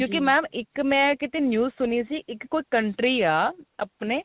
ਕਿਉਂਕਿ ਇੱਕ ਮੈਂ ਕਿਤੇ news ਸੁਣੀ ਸੀ ਇੱਕ ਕੋਈ country ਆ ਆਪਣੇ